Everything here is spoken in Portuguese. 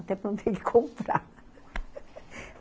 Até para não ter que comprar